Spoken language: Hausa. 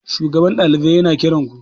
shugaban ɗalibai yana kiranku?